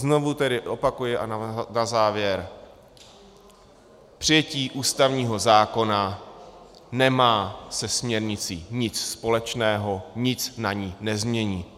Znovu tedy opakuji a na závěr: přijetí ústavního zákona nemá se směrnicí nic společného, nic na ní nezmění.